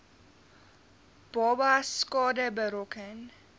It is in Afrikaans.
babas skade berokken